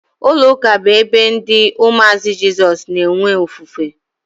Ụlọ ụka bụ ebe ndị umuazi Jesus na-enwe ofufe